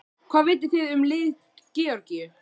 Hvað vitið þið um lið Georgíu?